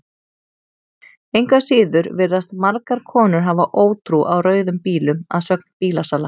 Engu að síður virðast margar konur hafa ótrú á rauðum bílum að sögn bílasala.